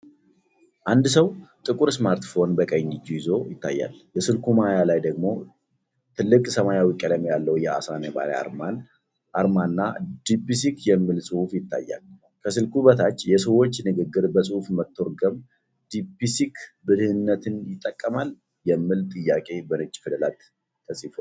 አንድ ሰው ጥቁር ስማርትፎን በቀኝ እጁ ይዞ ይታያል፤ የስልኩ ማያ ላይ ደግሞ ጥልቅ ሰማያዊ ቀለም ያለው የዓሣ ነባሪ አርማና "deepseek" የሚል ጽሑፍ ይታያል። ከስልኩ በታች "የሰዎች ንግግር በፅሁፍ መተርጎም "ዲፕሲክ"ብልህነትን ይጠቀማል?"የሚል ጥያቄ በነጭ ፊደላት ተጽፏል።